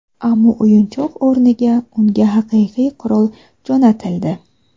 Ammo o‘yinchoq o‘rniga unga haqiqiy qurol jo‘natildi.